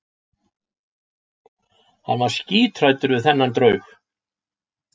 Hann var skíthræddur við þennan draug.